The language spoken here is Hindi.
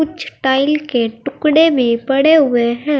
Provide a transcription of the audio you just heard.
टाइल के टुकड़े भी पड़े हुए हैं।